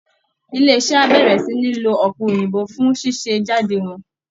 Ilé iṣẹ́ á bẹ̀rẹ̀ sí ní lo ọ̀pẹ̀ òyìnbó fún ṣíṣe jáde wọn